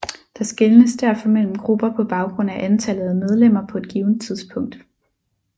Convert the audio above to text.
Der skelnes derfor mellem grupper på baggrund af antallet af medlemmer på et givent tidspunkt